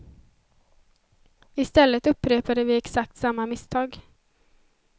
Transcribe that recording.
Istället upprepade vi exakt samma misstag.